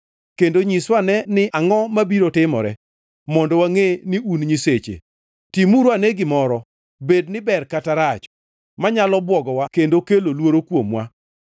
kendo nyiswa anena ni angʼo mabiro timore, mondo wangʼe ni un nyiseche. Timuru ane gimoro, bed ni ber kata rach, manyalo bwogowa kendo kelo luoro kuomwa.